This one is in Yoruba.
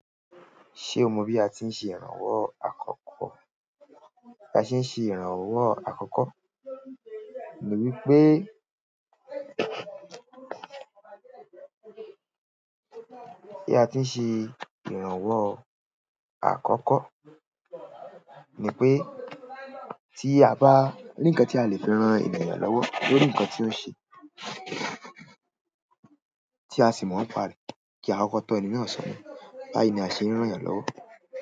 Ṣe o mọ bi a ti n ṣe ìrànwọ́ àkọ́kọ́? Bí a ṣe ń ṣe ìrànwọ́ àkọ́kọ́ ni wípé, bí a ti ń ṣe ìrànwọ́ àkọ́kọ́, ni pé tí a bá ni nǹkan tí a lè fi ran ènìyàn lọ́wọ́ lórí nǹkan tí ó ń ṣe, tí a sì mọ̀ ńpa rẹ̀, kí a kọ́kọ́ tọ́ ẹni náà sọ́nà. Báyìí ni a ṣe ń ràn'yàn lọ́wọ́.